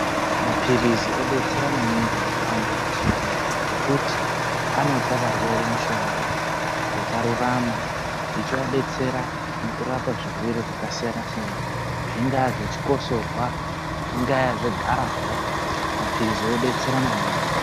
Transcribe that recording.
Maphirizi odetsera maningi mundarawunda mazuwanaya ngekuti anopa varwere mishonga yakarurama ichivadetsera mukurapwa zvirwere zvakasiyana siyana. Zvinga zvechikosorwa, zvinga zvegarawa, maphirizi odetsera maningi.